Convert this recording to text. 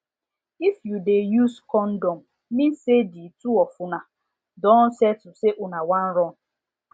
if u de use condom means say the two of una don settle say una wan run